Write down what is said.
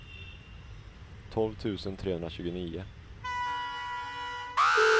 tolv tusen trehundratjugonio